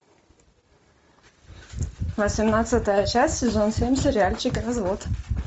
восемнадцатая часть сезон семь сериальчика развод